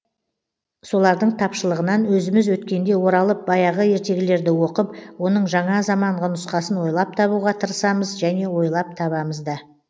солардың тапшылығынан өзіміз өткенде оралып баяғы ертегілерді оқып оның жаңа заманғы нұсқасын ойлап табуға тырысамыз және ойлап табамыз да